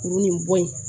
Kuru nin bɔ in